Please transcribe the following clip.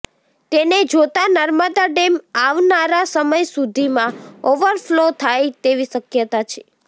તેને જોતાં નર્મદા ડેમ આવનારા સમય સુધીમાં ઓવરફલો થાય તેવી શક્યતા છે